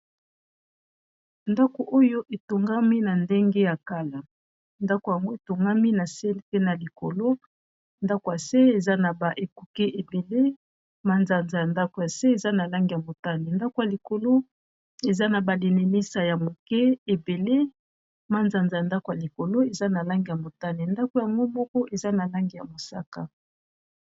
ndako oyo etongami na ndenge ya kala ndako yango etongami na se mpe na likolo ndako ya se eza na ba ekoke ebele manzanza ya ndako ya se eza na lange ya motane ndako ya likolo eza na balinimisa ya moke ebele manzanza ya ndako ya likolo eza na lange ya motane ndako yango moko eza na lange ya mosaka